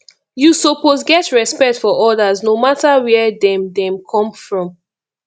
you suppose get respect for others no mata where dem dem come from